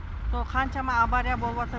сол қаншама авария болыватыр